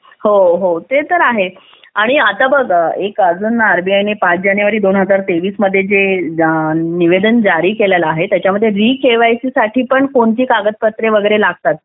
हो हो ते तर आहेच आणि आता बघा अजून एक आरबीआय ने पाच जानेवारी दोन हजार तेवीस मध्ये निवेदन जारी केलेला आहे विकेवायसी साठी पण कोणती कागदपत्रे लागतात